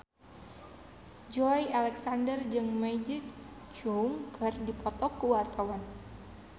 Joey Alexander jeung Maggie Cheung keur dipoto ku wartawan